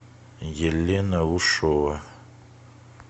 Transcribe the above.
елена ушова